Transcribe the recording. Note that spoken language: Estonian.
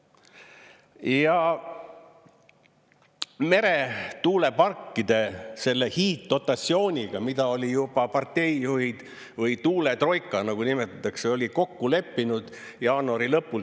Ja meretuuleparkide selle hiiddotatsiooniga, mida olid juba parteijuhid või tuuletroika, nagu nimetatakse, oli kokku leppinud jaanuari lõpul.